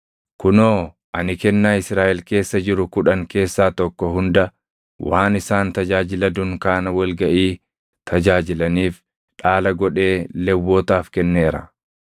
“Kunoo ani kennaa Israaʼel keessa jiru kudhan keessaa tokko hunda waan isaan tajaajila dunkaana wal gaʼii tajaajilaniif dhaala godhee Lewwotaaf kenneera.